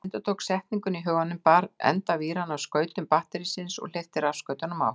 Hann endurtók setninguna í huganum, bar enda víranna að skautum batterísins og hleypti rafstraumnum á.